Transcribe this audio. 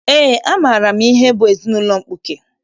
Eé, amaara m ihe bụ ezinaụlọ mkpuke